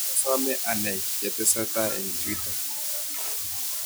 Asomee anai chetesetai eng' twita